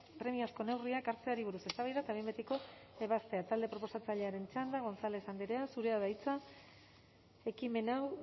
premiazko neurriak hartzeari buruz eztabaida eta behin betiko ebaztea talde proposatzailearen txanda gonzález andrea zurea da hitza ekimen hau